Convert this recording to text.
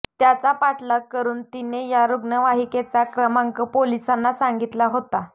त्याचा पाठलाग करून तिने या रुग्णवाहिकेचा क्रमांक पोलिसांना सांगितला होता